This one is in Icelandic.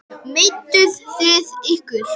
En kemst ekki út.